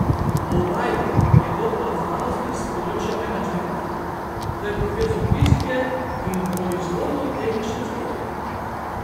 Logaj je doktor znanosti s področja managementa ter profesor fizike in proizvodno tehnične vzgoje.